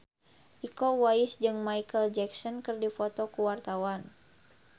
Iko Uwais jeung Micheal Jackson keur dipoto ku wartawan